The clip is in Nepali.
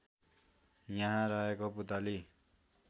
यहाँ रहेको पुतली